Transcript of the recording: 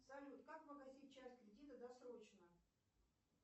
салют как погасить часть кредита досрочно